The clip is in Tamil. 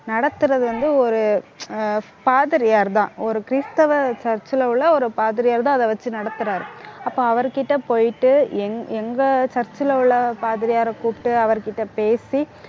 நடத்துறது வந்து ஒரு ஆஹ் பாதிரியார்தான். ஒரு கிறிஸ்தவ church ல உள்ள, ஒரு பாதிரியார்தான் அதை வச்சு நடத்துறாரு. அப்ப அவருகிட்ட போயிட்டு எங்~ எங்க church ல உள்ள பாதிரியாரை கூப்பிட்டு அவர்கிட்ட பேசி